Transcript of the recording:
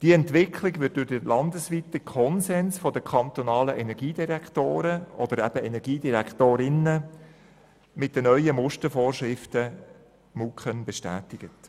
Diese Entwicklung wird durch den landesweiten Konsens der kantonalen Energiedirektoren und Energiedirektorinnen mit den MuKEn bestätigt.